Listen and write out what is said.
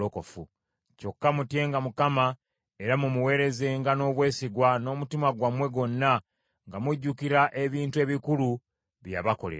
Kyokka mutyenga Mukama era mumuweerezenga n’obwesigwa n’omutima gwammwe gwonna, nga mujjukira ebintu ebikulu bye yabakolera.